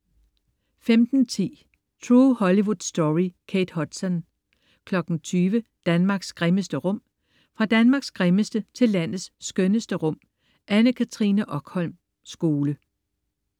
15.10 True Hollywood Story. Kate Hudson 20.00 Danmarks grimmeste rum. Fra Danmarks grimmeste til landets skønneste rum. Anne Katrine Okholm Skole